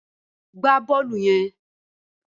Gbá bọ́ọ̀lù yẹn!